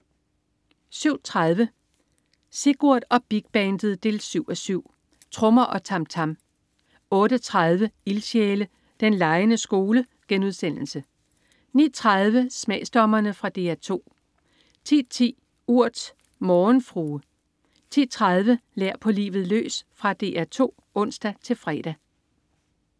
07.30 Sigurd og Big Bandet 7:7. Trommer og tam tam 08.30 Ildsjæle. Den legende skole* 09.30 Smagsdommerne. Fra DR 2 10.10 Urt. Morgenfrue 10.30 Lær på livet løs. Fra DR 2 (ons-fre)